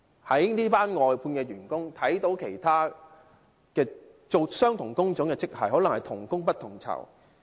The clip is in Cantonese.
這些外判員工與其他從事相同工種的職系的人員，可能是同工不同酬。